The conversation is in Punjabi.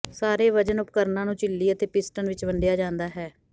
ਸਾਰੇ ਵਜਨ ਉਪਕਰਣਾਂ ਨੂੰ ਝਿੱਲੀ ਅਤੇ ਪਿਸਟਨ ਵਿਚ ਵੰਡਿਆ ਜਾਂਦਾ ਹੈ